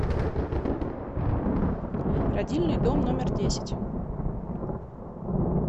родильный дом номер десять